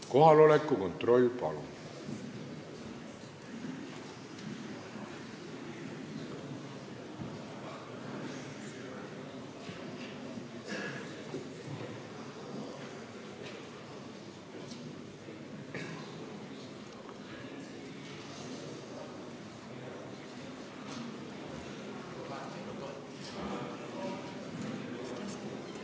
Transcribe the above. Kohaloleku kontroll, palun!